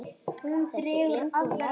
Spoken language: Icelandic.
Þessu gleymdi hún aldrei.